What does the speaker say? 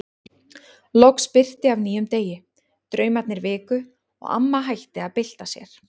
Loks birti af nýjum degi, draumarnir viku og amma hætti að bylta sér.